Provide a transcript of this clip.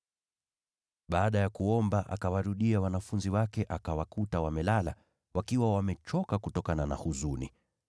Baada ya kuomba, akawarudia wanafunzi wake akawakuta wamelala, wakiwa wamechoka kutokana na huzuni.